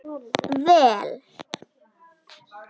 Vel